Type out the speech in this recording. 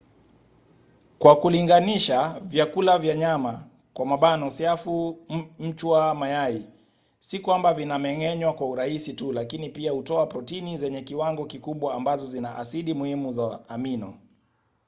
kwa kulinganisha vyakula vya wanyama siafu mchwa mayai si kwamba vinameng’enywa kwa urahisi tu lakini pia hutoa protini zenye kiwango kikubwa ambazo zina asidi muhimu za amino